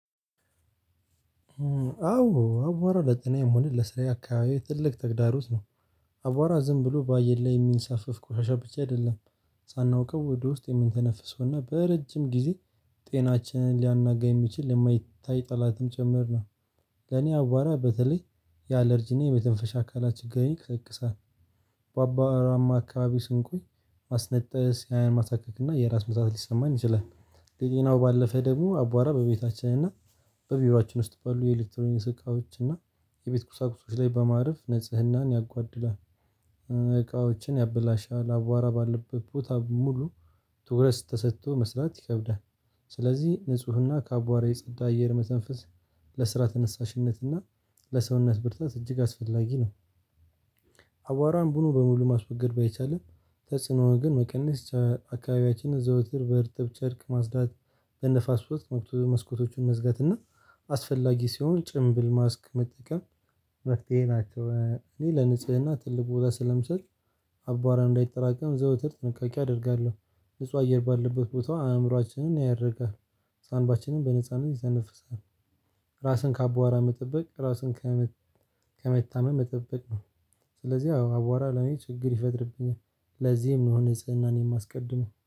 አዎ አቧራ ለጤናዬ መሆን ለስራዬ አካባቢ ትልቅ ተግዳሮት ነው። አቧራ ዝም ብሎ በአየር ላይ የሚንሳፈፍ ቆሻሻ ብቻ አይደለም። ሳናውቀው ወደ ውስጥ የምንተነፍሰውና በረጅም ጊዜ ጤናችንን ሊያናጋ የሚችል የማይታይ ጠላትም ጭምር ነው። ለኔ አዋራ በተለይ ያለርጂና የበተንፈሻ አካላችን ችግር ይቀሰቅሳል። በአቧራማ አካባቢ ስንቆይ ማስነጠስ አይን ማሳካክ እና የራስ ምታት ሊሰማን ይችላል። ሌላው ባለፈ ደግሞ አቧራ በቤታችን እና በቢሮአችን ውስጥ ባሉ የኤሌክትሮኒስ እቃዎች እና የቤት ቁሳቁሶች ላይ በማረፍ ንጽህናን ያጓድላል። እቃዎችን ያበላሻል አቧራ ባለበት ቦታ ሙሉ ትኩረት ተሰጥቶ መስራት ይከብዳል። ስለዚህ ንፁህና ከአቧራ የጸዳ አየር መተንፈስ ለስራ ተነሳሽነትና ለሰውነት ብርታት እጅግ አስፈላጊ ነው። አቧራን ቡድኑ በሙሉ ማስወገድ ባይቻልም ተጽዕኖ ግን መቀነስ አካባቢያችንን ዘውትር በእርጥብ ቸርክ ማስዳት በንፋስ ውስጥ መስኮቶቹን መዝጋት እና አስፈላጊ ሲሆን ጭንብል ማስክ መጠቀም። መፍትሄ ናቸው እኔ ለንጽህና ትልቅ ቦታ ስለምሰጥ አባረም እንዳይጠራቀም ዘውትር ጥንቃቄ አደርጋለሁ። ንጹህ አየር ባለበት ቦታው አእምሮአችንን ያደርጋል ሳንባችንን በነጻነት ይዘነፍሳል። ራስን ከአቧራ መጠበቅ ራስን ከመታመም መጠበቅ ነው። ስለዚህ አዋራ ለኔ ችግር ይፈጥርብኛል ለዚህም ነው ንጽህናን የማስቀድመው